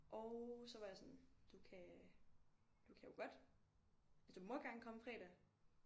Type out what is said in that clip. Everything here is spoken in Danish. Og så var jeg sådan du kan du kan jo godt altså du må gerne komme fredag